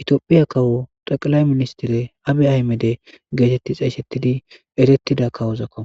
itiophiya kawo xaqalay ministire abe aymede geetetti xaysettidi erettida kawozakko